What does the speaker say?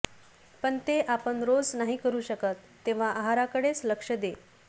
पण ते आपण रोज नाही करु शकत तेव्हा आहाराकडेच लक्ष दे